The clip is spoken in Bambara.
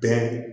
Den